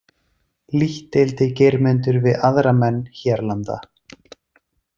Lítt deildi Geirmundur við aðra menn hérlanda.